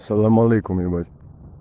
салам алейкум ебать